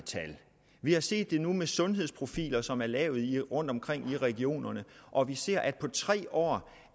vi har set det med sundhedsprofiler som er lavet rundtomkring i regionerne og vi ser at på tre år